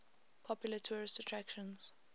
popular tourist attractions